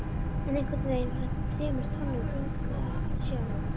En einhvernveginn var þetta þremur tonnum þyngra- sjálf